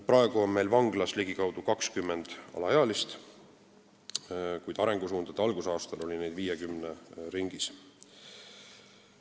Praegu on vanglas ligikaudu 20 alaealist, kuid arengusuundade kehtimise algusaastail oli neid 50 ringis.